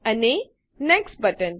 અને next button